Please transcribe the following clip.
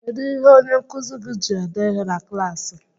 Kedu ihe onyenkuzi gị ji ede ihe na klaasị?